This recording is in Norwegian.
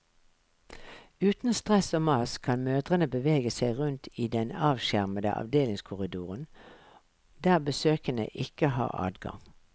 Uten stress og mas kan mødrene bevege seg rundt i den avskjermede avdelingskorridoren, der besøkende ikke har adgang.